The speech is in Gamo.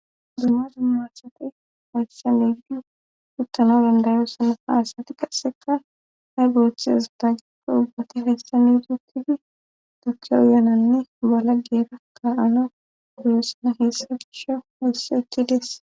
dumma dumma asati hayssa medan uttanaw dandayo sanafa asati qasseka hay booththe azadaikko ubbati hayssa mi dutidi toke uyananne bola geera ka ana guyossana heessa gisha wosse ekki dees